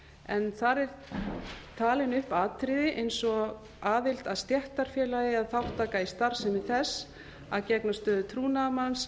en þar eru talin upp atriði eins og aðild að stéttarfélagi eða þátttaka í starfsemi þess að gegna stöðu trúnaðarmanns